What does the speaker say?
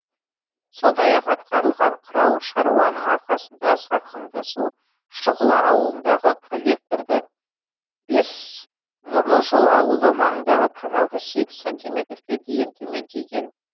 сондай ақ атқарылған қыруар шаруаның арқасында сарқынды су шұғыла ауылындағы коллекторда бес нұрлы жол ауылы маңындағы каналда сегіз сантиметрге дейін төмендеген